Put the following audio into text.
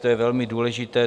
To je velmi důležité.